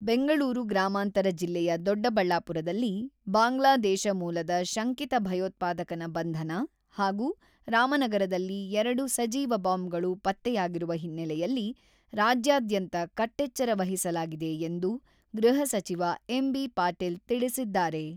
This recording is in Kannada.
ಬೆಂಗಳೂರು ಗ್ರಾಮಾಂತರ ಜಿಲ್ಲೆಯ ದೊಡ್ಡಬಳ್ಳಾಪುರದಲ್ಲಿ ಬಾಂಗ್ಲಾದೇಶ ಮೂಲದ ಶಂಕಿತ ಭಯೋತ್ಪಾದಕನ ಬಂಧನ ಹಾಗೂ ರಾಮನಗರದಲ್ಲಿ ಎರಡು ಸಜೀವ ಬಾಂಬ್‌ಗಳು ಪತ್ತೆಯಾಗಿರುವ ಹಿನ್ನೆಲೆಯಲ್ಲಿ ರಾಜ್ಯಾದ್ಯಂತ ಕಟ್ಟೆಚ್ಚರ ವಹಿಸಲಾಗಿದೆ ಎಂದು ಗೃಹ ಸಚಿವ ಎಂ.ಬಿ.ಪಾಟೀಲ್ ತಿಳಿಸಿದ್ದಾರೆ.